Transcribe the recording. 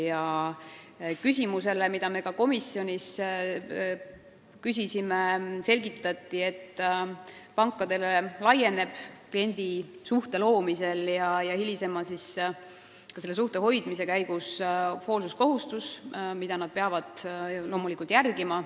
See küsimus esitati ka komisjonis ja selle peale selgitati, et pankadele tekib kliendisuhte loomisel ja hilisemal suhte hoidmisel hoolsuskohustus, mida nad peavad loomulikult täitma.